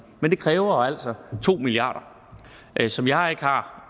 men det kræver altså to milliard kr som jeg ikke har